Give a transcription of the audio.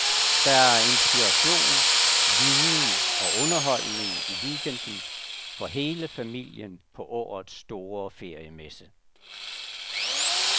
Der er inspiration, viden og underholdning i weekenden for hele familien på årets store feriemesse.